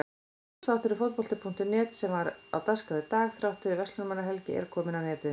Útvarpsþátturinn Fótbolti.net sem var á dagskrá í dag þrátt fyrir Verslunarmannahelgi er kominn á netið.